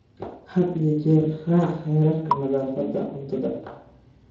Had iyo jeer raac xeerarka nadaafadda cuntada.